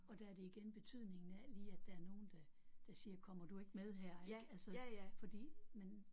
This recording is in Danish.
Og der er det igen betydningen af lige at der er nogen der der siger kommer du ikke med her ik altså fordi men